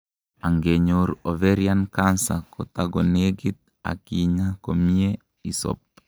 angenyor overian cancer kotakonegit ak kinyaa komiyee isob